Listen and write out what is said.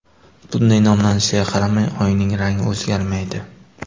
Bunday nomlanishiga qaramay, Oyning rangi o‘zgarmaydi.